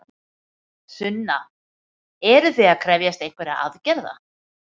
Sunna: Eruð þið að krefjast einhverra aðgerða?